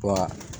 Wa